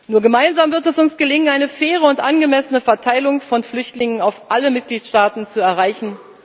Nur gemeinsam wird es uns gelingen, eine faire und angemessene Verteilung von Flüchtlingen auf alle Mitgliedstaaten zu erreichen.